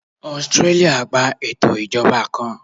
Austria gba eto ijọba ijọba ijọba kan